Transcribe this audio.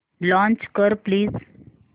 launch कर please